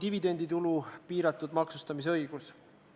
Juhatus ei toetanud ettepanekut, et juhatus lugemise katkestaks.